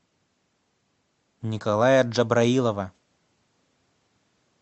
николая джабраилова